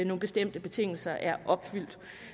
nogle bestemte betingelser er opfyldt